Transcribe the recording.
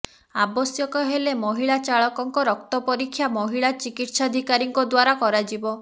ଆବଶ୍ୟକ ହେଲେ ମହିଳା ଚାଳକଙ୍କ ରକ୍ତ ପରୀକ୍ଷା ମହିଳା ଚିକିତ୍ସାଧିକାରୀଙ୍କ ଦ୍ୱାରା କରାଯିବ